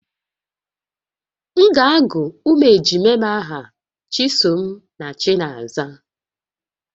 M ga-agụ ụmụ ejima m aha Chisom na Chinaza